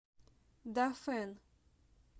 дафэн